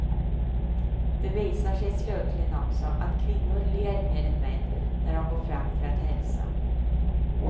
Det visar sig slutligen också att kvinnor ler mer än män när de går fram för att hälsa.